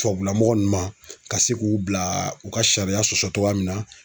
Tubabula mɔgɔ nunnu ma ka se k'u bila u ka sariya sɔsɔ cogoya min na.